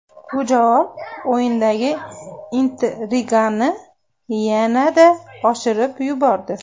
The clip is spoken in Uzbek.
Bu javob o‘yinidagi intrigani yanada oshirib yubordi.